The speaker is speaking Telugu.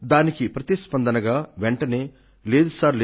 దానికి ప్రతిస్పందనగా వెంటనే లేదు సార్